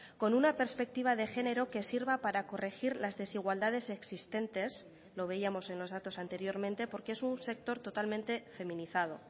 con una perspectiva de género que sirva para corregir las desigualdades existentes lo veíamos en los datos anteriormente porque es un sector totalmente feminizado